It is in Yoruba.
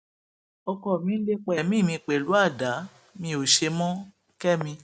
ọkọ mi ń lépa ẹmí mi pẹlú àdá mi ó ṣe mọkẹmi